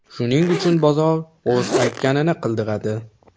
Shuning uchun bozor o‘z aytganini qildiradi.